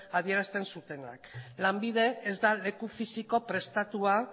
adierazten zutenak lanbide ez da leku fisiko prestatua